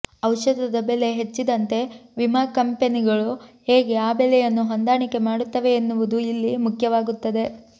ಔಷಧದ ಬೆಲೆ ಹೆಚ್ಚಿದಂತೆ ವಿಮಾ ಕಂಪೆನಿಗಳು ಹೇಗೆ ಆ ಬೆಲೆಯನ್ನು ಹೊಂದಾಣಿಕೆ ಮಾಡುತ್ತವೆ ಎನ್ನುವುದೂ ಇಲ್ಲಿ ಮುಖ್ಯವಾಗುತ್ತದೆ